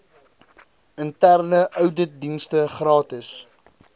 interne ouditdienste gratis